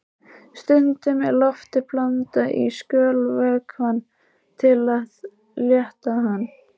Stundum er lofti blandað í skolvökvann til að létta hann.